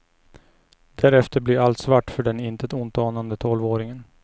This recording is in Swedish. Därefter blir allt svart för den intet ont anande tolvåringen.